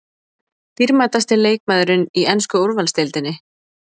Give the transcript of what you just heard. Dýrmætasti leikmaðurinn í ensku úrvalsdeildinni?